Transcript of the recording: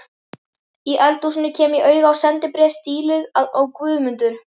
Í eldhúsinu kem ég auga á sendibréf stíluð á Guðmundur